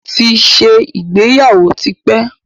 Mo ti ṣe ìgbéyàwó tí pẹ́.